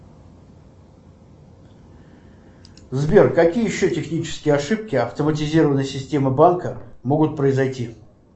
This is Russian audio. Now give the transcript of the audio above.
сбер какие еще технические ошибки автоматизированной системы банка могут произойти